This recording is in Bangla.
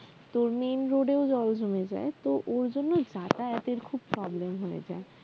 তো main road এ ও জল জমে যায় তো ওই জন্য যাতায়াতের খুব problem হয়ে যায়